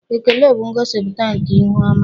Ekele bụ ngosipụta nke ihu ọma.